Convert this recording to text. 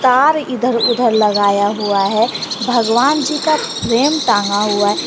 तार इधर उधर लगाया हुआ है भगवान जी का फ्रेम टांगा हुआ है।